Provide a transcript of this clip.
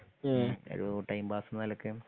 ഒരു ടൈമ്പസ്സാന്നെ നിലക്ക്